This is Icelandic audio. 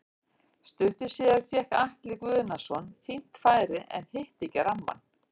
Stuttu síðar fékk Atli Guðnason fínt færi en hitti ekki rammann.